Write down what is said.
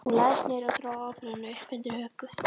Hún lagðist niður og dró ábreiðuna upp undir höku.